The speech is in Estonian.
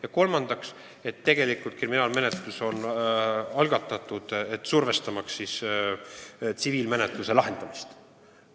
Ja kolmandaks, tegelikult on kriminaalmenetlus algatatud, survestamaks tsiviilmenetluse lahendamist.